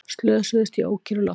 Slösuðust í ókyrru lofti